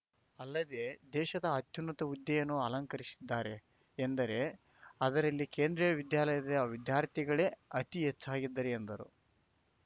ಅಲ್ಲದೆ ದೇಶದ ಅತ್ಯುನ್ನತ ಹುದ್ದೆಯನ್ನು ಅಲಂಕರಿಸಿದ್ದಾರೆ ಎಂದರೆ ಅದರಲ್ಲಿ ಕೇಂದ್ರಿಯ ವಿದ್ಯಾಲಯದ ವಿದ್ಯಾರ್ಥಿಗಳೆ ಅತೀ ಹೆಚ್ಚಾಗಿದ್ದಾರೆ ಎಂದರು